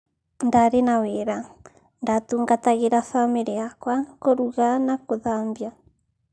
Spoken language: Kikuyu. Ndarĩ na wĩra-ndatungatagĩraa family yakwa, kũrugaa na kũthabia .